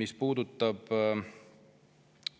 Mis puudutab